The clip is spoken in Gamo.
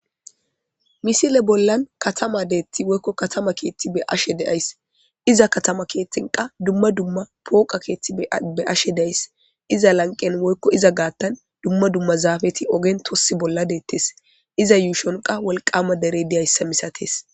misile bollan katama deetti woykko katama keththi be'ashe de'ays.iza katama keeththen qaa dumma dumma pooqa keeththi be'ashe days. iza lanqen woykko iza gaattan dumma dumma zaafeti ogen tossu bolla de'ettes iza yuushon qaa wolqama dere diyayisa misatees.